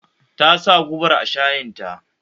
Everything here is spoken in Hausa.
Tasa gubar a shayin ta